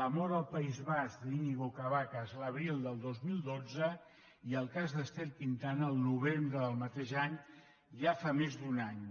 la mort al país basc d’iñigo cabacas l’abril del dos mil dotze i el cas d’ester quintana al novembre del mateix any ja fa més d’un any